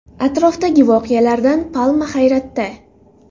Atrofdagi voqealardan palma hayratda.